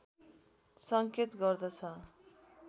संकेत गर्दछ